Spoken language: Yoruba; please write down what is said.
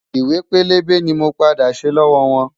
Ìwé pélébé ni mo padà ṣe lọ́wọ́ wọn.